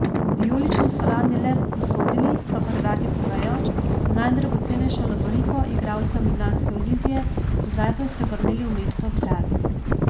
Vijolični so lani le posodili, kakor radi povejo, najdragocenejšo lovoriko igralcem ljubljanske Olimpije, zdaj pa so jo vrnili v mesto ob Dravi.